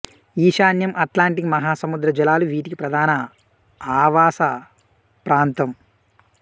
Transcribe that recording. ఈశాన్య అట్లాంటిక్ మహా సముద్ర జలాలు వీటికి ప్రధాన ఆవాస ప్రాంతం